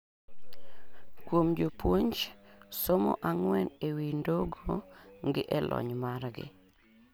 Kuom jopuonj, somo ang'wen e wi ndogo gi e lony margi